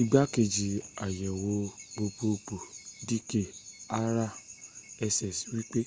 ìgbákẹjì ayèwò gbogbogbò d k arya sṣ wípé